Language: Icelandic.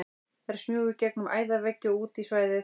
Þær smjúga í gegnum æðaveggi og út í svæðið.